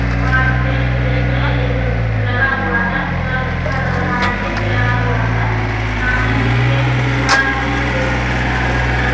वहाँ टेंट जैसे एक कुछ लगा हुआ है फिलहाल अच्छा लग रहा है टेंट लगा हुआ है सामने मे पेड़ भी है और पेड़ देखने मे काफी सुंदर लग --